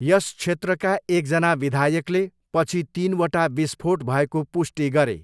यस क्षेत्रका एकजना विधायकले पछि तिनवटा विस्फोट भएको पुष्टि गरे।